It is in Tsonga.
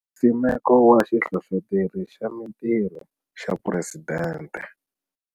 Nsimeko wa Xihlohloteri xa Mitirho xa Phuresidente.